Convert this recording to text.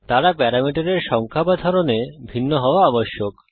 তারা প্যারামিটারের সংখ্যা বা ধরনে ভিন্ন হওয়া আবশ্যক